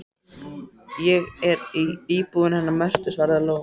Ég er í íbúðinni hennar Mörtu, svaraði Lóa.